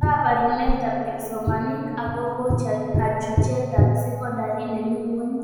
Ka barunetab kipsomanink akobo kachutetab sekondari nemi ngwony